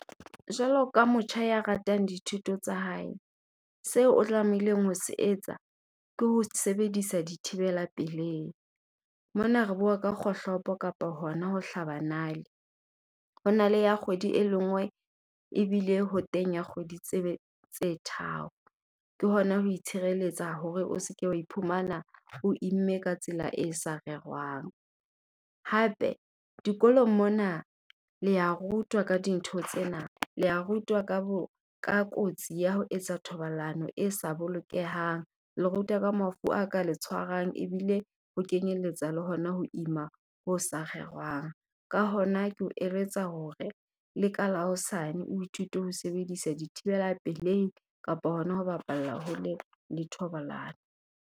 Jwalo ka motjha ya ratang dithuto tsa hae, seo o tlamehileng ho se etsa ke ho sebedisa dithibela pelehi. Mona re bua ka kgohlopo kapa hona ho hlaba nale. Ho na le ya kgwedi e le nngwe ebile ho teng ya kgwedi tse tharo, ke hona ho itshireletsa hore o se ke wa iphumana o imme ka tsela e sa rerwang. Hape dikolong mona le ya rutwa ka dintho tsena, le ya rutwa ka , ka kotsi ya ho etsa thobalano e sa bolokehang, le rutwa ka mafu a ka le tshwarang ebile ho kenyeletsa le hona ho ima ho sa rerwang. Ka hona, ke o eletsa hore le ka la hosane o ithute ho sebedisa dithibela pelehi kapa hona ho bapalla hole le thobalano.